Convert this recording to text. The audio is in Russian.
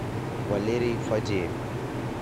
валерий фадеев